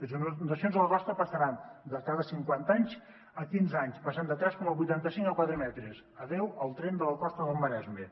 les inundacions a la costa passaran de cada cinquanta anys a cada quinze anys i de tres coma vuitanta cinc a quatre metres adeu al tren de la costa del maresme